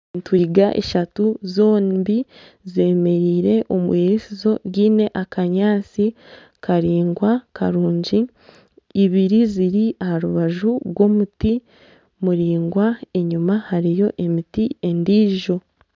Entwinga ishatu zombi zemereire omwiriisizo ryine akanyaatsi karaingwa karungi ibiri ziri aha rubaju rw'omuti muraingwa enyuma hariyo emiti endiijo.